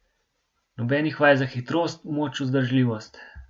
Nobenih vaj za hitrost, moč, vzdržljivost.